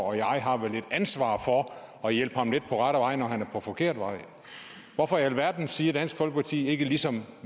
og jeg har vel et ansvar for at hjælpe ham lidt på rette vej når han er på forkert vej hvorfor i alverden siger dansk folkeparti ikke ligesom